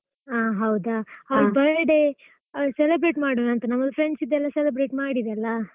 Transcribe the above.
ಹಾ ಹೌದಾ? birthday ಆ celebrate ಮಾಡುವಾಂತ ನಮ್ದು friends ದೆಲ್ಲ celebrate ಮಾಡಿದೆಲ್ಲಾ.